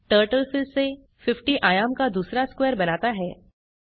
turtle फिरसे 50 आयाम का दूसरा स्क्वेयर बनाता है